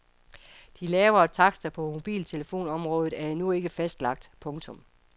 De lavere takster på mobiltelefonområdet er endnu ikke fastlagt. punktum